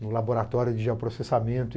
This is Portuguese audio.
no laboratório de geoprocessamento.